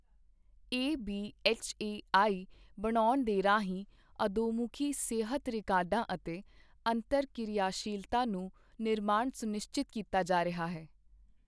ABHA ਆਈ ਬਣਾਉਣ ਦੇ ਰਾਹੀਂ ਅਧੋਮੁਖੀ ਸਿਹਤ ਰਿਕਾਰਡਾਂ ਅਤੇ ਅੰਤਰ ਕਿਰਿਆਸ਼ੀਲਤਾ ਨੂੰ ਨਿਰਮਾਣ ਸੁਨਿਸ਼ਚਿਤ ਕੀਤਾ ਜਾ ਰਿਹਾ ਹੈ।